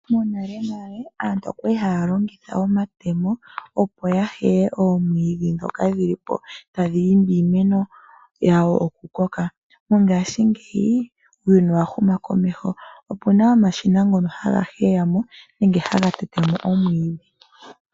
Monale nale aantu okwali haya longitha omatemo opo ya heye oomwiidhi ndhoka dhili po tadhi imbi iimeno yawo okukoka. Mongashingeyi uuyuni owa huma komeho opuna omashina ngono haga heya mo nenge haga tete mo oomwiidhi.